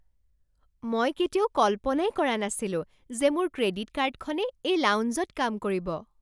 মই কেতিয়াও কল্পনাই কৰা নাছিলো যে মোৰ ক্ৰেডিট কাৰ্ডখনে এই লাউঞ্জত কাম কৰিব!